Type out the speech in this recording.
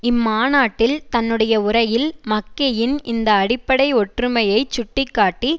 இம்மாநாட்டில் தன்னுடைய உரையில் மக்கெயின் இந்த அடிப்படை ஒற்றுமையைச் சுட்டி காட்டி